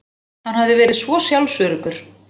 Hann hafði verið svo sjálfsöruggur.